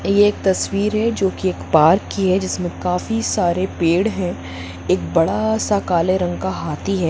एक तस्वीर है जो कि एक पार्क की है जिसमें काफी सारे पेड़ है एक बड़ा सा काले रंग का हाथी है।